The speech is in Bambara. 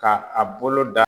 K'a a bolo da